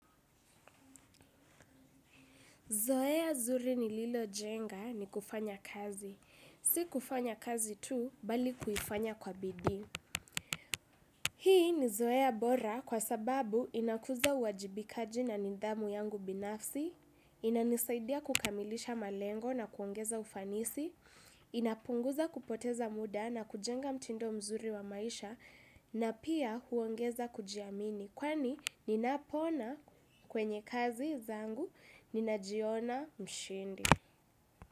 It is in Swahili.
Zoeya zuri nililo jenga ni kufanya kazi. Si kufanya kazi tu bali kuifanya kwa bidii. Hii ni zoeya bora kwa sababu inakuza uwajibikaji na nidhamu yangu binafsi, inanisaidia kukamilisha malengo na kuongeza ufanisi, inapunguza kupoteza muda na kujenga mtindo mzuri wa maisha, na pia huongeza kujiamini. Kwani ninapoona kwenye kazi zangu ninajiona mshindi.